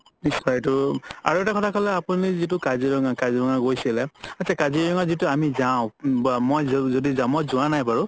নিশ্চয় এটো আৰু এটা কথা ক'লে আপুনি যিটো কাজিৰঙা গৈছিলে আত্চা কাজিৰঙা যিতো আমি যাও উম মই যদি যাও মই যোৱা নাই বাৰু